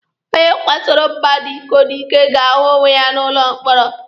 Onye kwasoro mmadụ iko n'ike ga-ahu onwe ya n'ụlọ mkpọrọ.